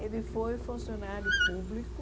Ele foi funcionário público.